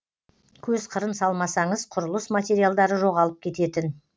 көз қырын салмасаңыз құрылыс материалдары жоғалып кететін